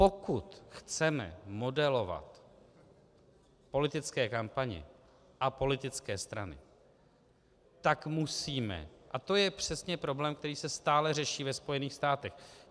Pokud chceme modelovat politické kampaně a politické strany, tak musíme - a to je přesně problém, který se stále řeší ve Spojených státech.